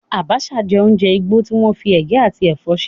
Abacha jẹ́ oúnjẹ igbó tí wọ́n fi ege àti ẹ̀fọ́ ṣe.